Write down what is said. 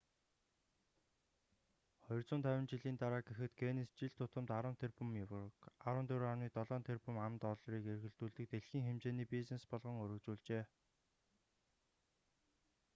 250 жилийн дараа гэхэд гиннес жил тутамд 10 тэрбум еврог 14,7 тэрбум ам.доллар эргэлдүүлдэг дэлхийн хэмжээний бизнес болгон өргөжүүлжээ